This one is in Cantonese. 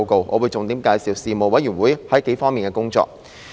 我會重點介紹事務委員會在幾方面的工作。